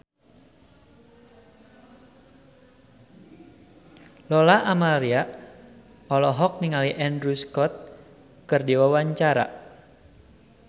Lola Amaria olohok ningali Andrew Scott keur diwawancara